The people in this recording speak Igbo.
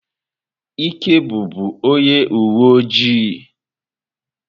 Ike bụbu onye uwe ojii.